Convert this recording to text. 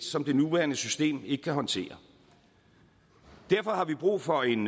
som det nuværende system ikke kan håndtere derfor har vi brug for en